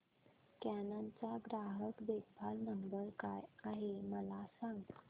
canon चा ग्राहक देखभाल नंबर काय आहे मला सांग